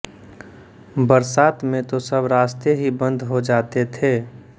बरसात में तो सब रास्ते ही बन्द हो जाते थे